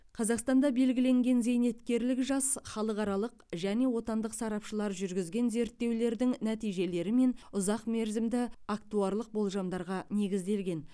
қазақстанда белгіленген зейнеткерлік жас халықаралық және отандық сарапшылар жүргізген зерттеулердің нәтижелері мен ұзақ мерзімді актуарлық болжамдарға негізделген